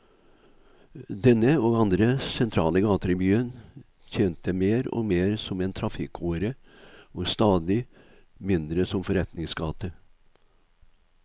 Denne, og andre sentrale gater i byen, tjente mer og mer som en trafikkåre og stadig mindre som forretningsgate.